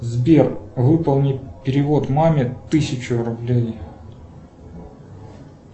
сбер выполни перевод маме тысячу рублей